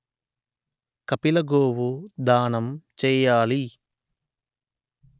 కపిల గోవు దానం చేయాలి